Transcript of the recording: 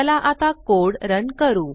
चाल आता code run करू